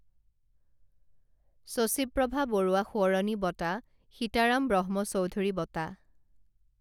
শশীপ্ৰভা বৰুৱা সোঁৱৰণী বঁটা সীতাৰাম ব্ৰহ্মচৌধুৰী বঁটা